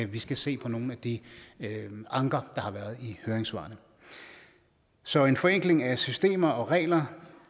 vi skal se på nogle af de anker der har været i høringssvarene så en forenkling af systemer og regler